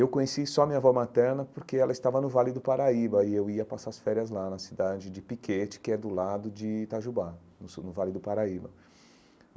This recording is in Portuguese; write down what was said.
Eu conheci só a minha avó materna porque ela estava no Vale do Paraíba e eu ia passar as férias lá na cidade de Piquete, que é do lado de Itajubá, no sul do Vale do Paraíba.